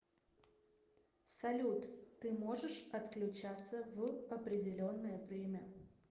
салют ты можешь отключаться в определенное время